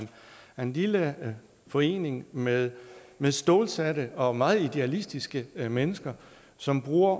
en lille forening med stålsatte og meget idealistiske mennesker som bruger